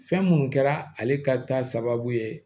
Fɛn minnu kɛra ale ka taa sababu ye